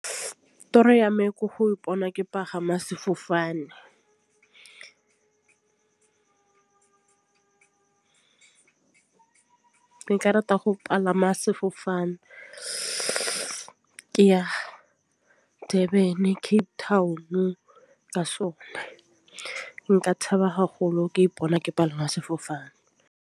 Toro ya me ko go ipona ke pagama sefofane. Ke ka rata go palama sefofane ke ya Durban, Cape Town ka sona nka thaba haholo ke ipona ke palame sefofane.